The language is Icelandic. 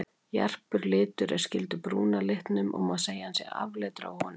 Jarpur litur er skyldur brúna litum og má segja að hann sé afleiddur af honum.